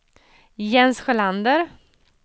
Jens Sjölander